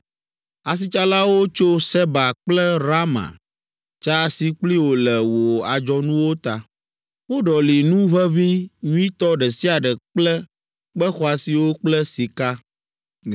“Asitsalawo tso Seba kple Raama tsa asi kpli wò le wò adzɔnuwo ta. Woɖɔli nu ʋeʋĩ nyuitɔ ɖe sia ɖe kple kpe xɔasiwo kple sika.